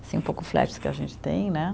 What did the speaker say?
Assim, um pouco que a gente tem, né?